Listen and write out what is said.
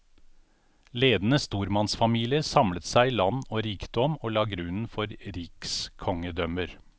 Ledende stormannsfamilier samlet seg land og rikdom, og la grunnen for rikskongedømmer.